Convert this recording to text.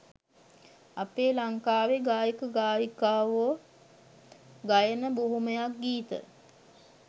අපේ ලංකාවෙ ගායක ගායිකාවො ගයන බොහොමයක් ගීත